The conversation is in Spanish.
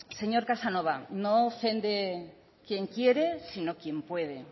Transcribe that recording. señor casanova no ofende quien quiere sino quien puede